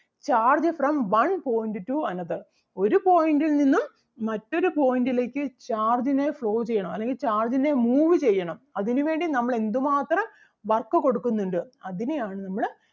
charge from one point to another ഒരു point ൽ നിന്നും മറ്റൊരു point ലേക്ക് charge ന് flow ചെയ്യണം അല്ലെങ്കിൽ charge ന് move ചെയ്യണം അതിനു വേണ്ടി നമ്മൾ എന്ത് മാത്രം work കൊടുക്കുന്നുണ്ട് അതിനെ ആണ് നമ്മള്